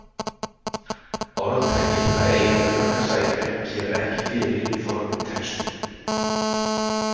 Orðtakið að eiga undir högg að sækja kemur ekki fyrir í fornum textum.